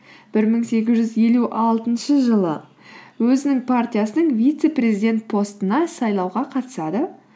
бір мың сегіз жүз елу алтыншы жылы өзінің партиясының вице президент постына сайлауға қатысады